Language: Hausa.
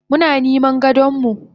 Muna niman gadonmu.